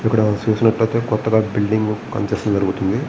ఇక్కడ చూసినట్లైతే కొత్తగా బిల్డింగ్ కన్స్స్ట్రక్షన్ జరుగుతుంది.